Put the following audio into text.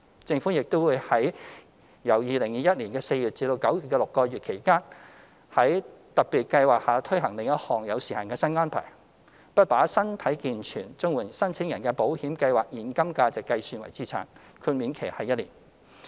政府亦會由2021年4月至9月的6個月期間，在特別計劃下推行另一項有時限新安排，不把身體健全綜援申請人的保險計劃現金價值計算為資產，豁免期為1年。